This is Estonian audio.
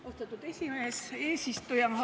Austatud aseesimees, eesistuja!